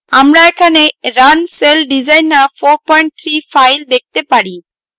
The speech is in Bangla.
আমরা এখানে runcelldesigner43 file দেখতে পারি